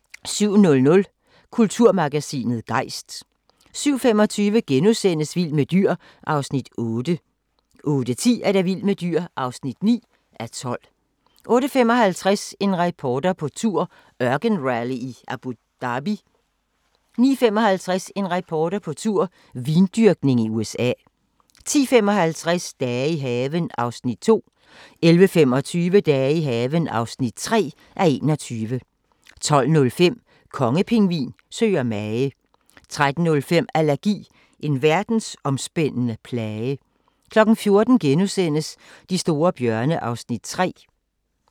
07:00: Kulturmagasinet Gejst 07:25: Vild med dyr (8:12)* 08:10: Vild med dyr (9:12) 08:55: En reporter på tur – ørkenrally i Abu Dhabi 09:55: En reporter på tur - vindyrkning i USA 10:55: Dage i haven (2:21) 11:25: Dage i haven (3:21) 12:05: Kongepingvin søger mage 13:05: Allergi – en verdensomspændende plage 14:00: De store bjørne (Afs. 3)*